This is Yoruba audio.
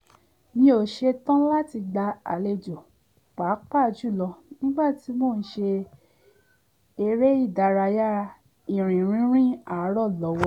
mi ò ṣetán láti gba àlejò pàápàá jùlọ nígbà tí mo sì ń ṣe eré ìdárayá ìrìn rínrìn àárọ̀ lọ́wọ́